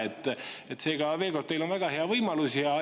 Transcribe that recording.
Seega veel kord teil on väga hea võimalus!